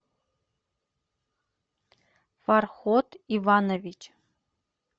фарход иванович